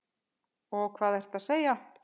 Og hvað ertu að segja?